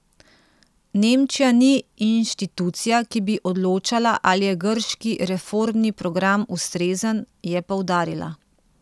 Nemčija ni inštitucija, ki bi odločala, ali je grški reformni program ustrezen, je poudarila.